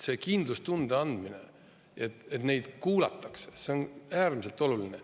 See kindlustunde andmine, et neid kuulatakse, on äärmiselt oluline.